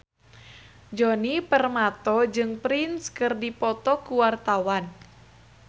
Djoni Permato jeung Prince keur dipoto ku wartawan